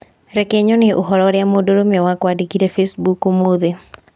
Reke nyone ũhoro ũrĩa mũndũrũme wakwa andĩkĩire Facebook ũmũthĩ